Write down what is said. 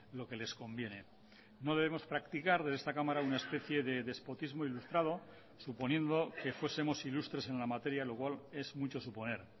lo que les conviene no debemos practicar de esta cámara una especie de despotismo ilustrado suponiendo que fuesemos ilustres en la materia lo cual es mucho suponer